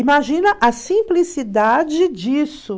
Imagina a simplicidade disso.